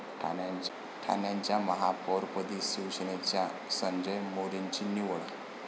ठाण्याच्या महापौरपदी शिवसेनेच्या संजय मोरेंची निवड